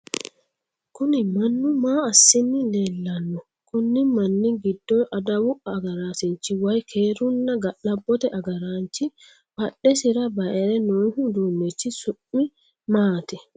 Kunni mannu maa asinni leelano? Konni manni gido adawu agaraasinchi woyi keerunna ga'labote agaranchi badhesira bayire noohu uduunichu su'mi maati?